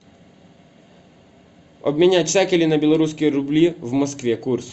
обменять шекели на белорусские рубли в москве курс